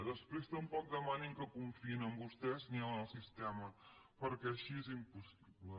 després tampoc demanin que confiïn en vostès ni en el sistema perquè així és impossible